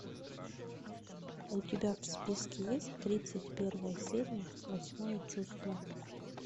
у тебя в списке есть тридцать первая серия восьмое чувство